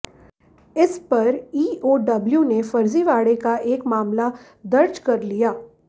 इस पर ईओडब्ल्यू ने फर्जीवाड़े का एक मामला दर्ज कर लिया